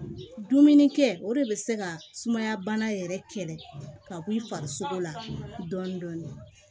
Dumuni kɛ o de bɛ se ka sumaya bana yɛrɛ kɛlɛ ka k'i faririsogo la dɔɔnin dɔɔnin